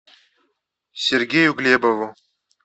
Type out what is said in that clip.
сергею глебову